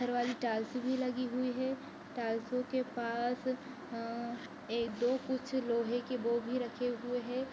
पत्थर वाली टाइल्स भी लगी हुई है टाइल्स के पास अ-एक दो कुछ लोहे की वो भी रखे हुए है।